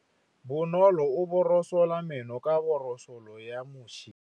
Bonolô o borosola meno ka borosolo ya motšhine.